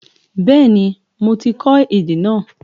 Bẹ́ẹ̀ni mo ti kó èdè náà